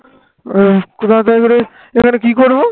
এখন আমি কি করবো